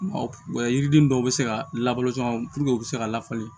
yiriden dɔw bɛ se ka labɔli caman k'o bɛ se ka lafali